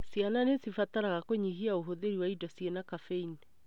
Ciana nĩcibatara kũnyihia ũhũthĩri wa indo cĩina cafeini.